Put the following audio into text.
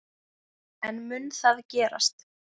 En mun það gerast?